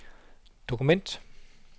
dokument